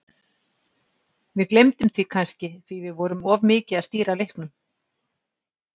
Við gleymdum því kannski því við vorum of mikið að stýra leiknum.